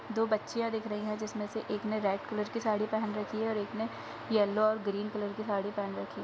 दो बच्चियाँ दिख रही हैं। जिसमें से एक ने रेड कलर की साड़ी पहन रखी है और एक ने यैलो और ग्रीन कलर की साड़ी पहन रखी --